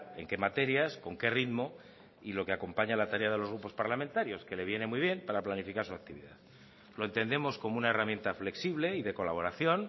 en qué materias con qué ritmo y lo que acompaña a la tarea de los grupos parlamentarios que le viene muy bien para planificar su actividad lo entendemos como una herramienta flexible y de colaboración